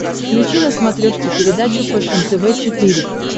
включи на смотрешке передачу фэшен тв четыре к